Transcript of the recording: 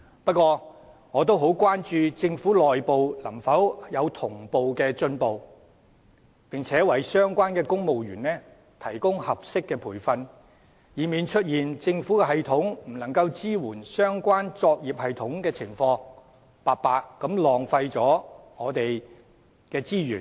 不過，我也很關注政府內部能否同步進行，並為相關的公務員提供合適的培訓，以免出現政府系統不能支援相關作業系統的情況，白白浪費我們的資源。